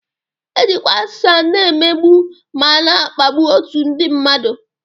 Ejikwa asụsụ na-emegbu ma na-akpagbu otu ndị mmadụ